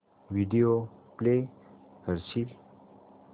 video play करशील